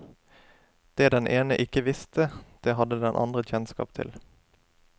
Det den ene ikke visste, det hadde den andre kjennskap til.